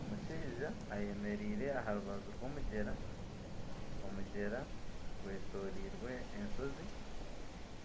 Omushaija ayemereire aha rubaju rw'omugyera omugyera gw'etoreirwe enshozi